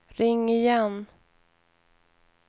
ring igen